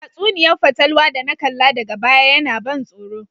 Tatsuniya'n fatalwa da na kalla daga baya yana ban soro.